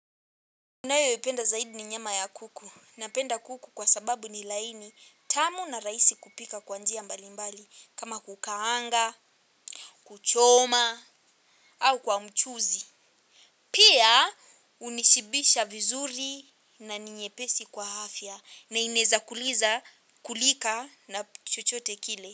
Ninayoipenda zaidi ni nyama ya kuku. Napenda kuku kwa sababu ni laini, tamu na rahisi kupika kwa njia mbalimbali kama kukaanga, kuchoma, au kwa mchuzi. Pia hunishibisha vizuri na ni nyepesi kwa afya na inaweza kuliza kulika na chochote kile.